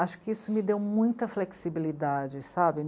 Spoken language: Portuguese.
Acho que isso me deu muita flexibilidade, sabe?